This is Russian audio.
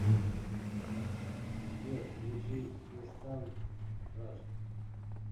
сбер включи инстант краш